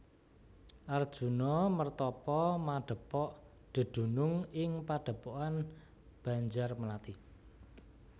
Arjuna mertapa madhepok dedunung ing padhepokan Banjarmelathi